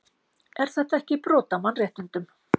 Er þetta ekki brot á mannréttindum?